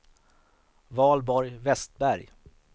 Valborg Vestberg